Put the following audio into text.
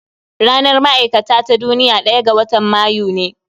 Ranar ma'aikata ta duniya ɗaya ga watan Mayu ne